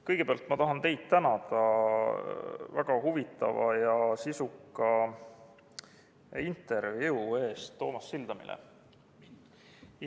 Kõigepealt tahan teid tänada väga huvitava ja sisuka intervjuu eest Toomas Sildamile.